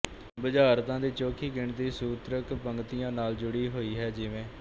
ਬੁਝਾਰਤਾਂ ਦੀ ਚੋਖ਼ੀ ਗਿਣਤੀ ਸੂਤਰਕ ਪੰਕਤੀਆਂ ਨਾਲ ਜੁੜੀ ਹੋਹੀ ਹੈ ਜਿਵੇਂ